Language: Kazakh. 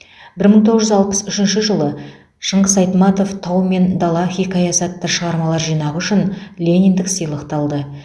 бір мың тоғыз жүз алпыс үшінші жылы шыңғыс айтматов тау мен дала хикаясы атты шығармалар жинағы үшін лениндік сыйлықты алды